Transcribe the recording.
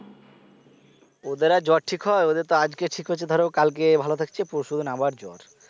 ওদের আর জ্বর ঠিক হয় ওদের তো আজকে ঠিক হচ্ছে ধরো কালকে ভালো থাকছে পরশু দিন আবার জ্বর